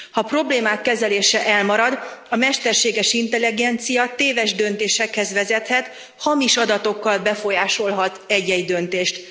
Ha a problémák kezelése elmarad, a mesterséges intelligencia téves döntésekhez vezethet, hamis adatokkal befolyásolhat egy egy döntést.